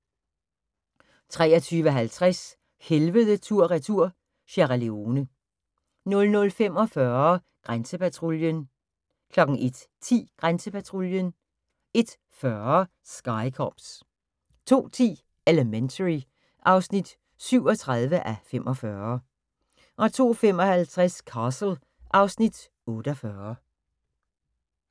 23:50: Helvede tur/retur – Sierra Leone 00:45: Grænsepatruljen 01:10: Grænsepatruljen 01:40: Sky Cops 02:10: Elementary (37:45) 02:55: Castle (Afs. 48)